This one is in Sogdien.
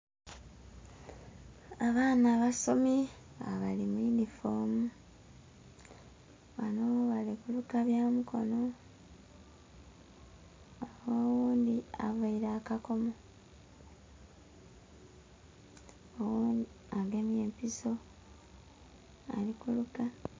Abaana abasomi nga bali muyindifomu banho bali kuluka byamikono oghundhi aveire akakomo, oghundhi agemye empiso alikuluka.